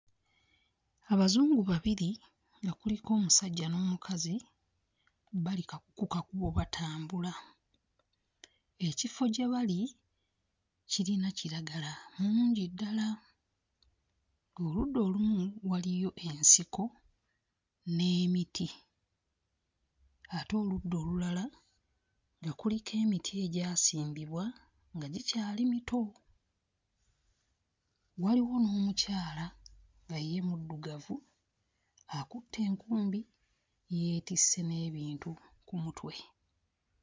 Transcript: Abazungu babiri nga kuliko omusajja n'omukazi bali kka ku kakubo batambula, ekifo gye bali kirina kiragala mungi ddala. Oludda olumu waliyo ensiko n'emiti. Ate oludda olulala nga kuliko emiti egyasimbibwa nga gikyali mito. Waliwo n'omukyala nga ye muddugavu akutte enkumbi yeetisse n'ebintu ku mutwe.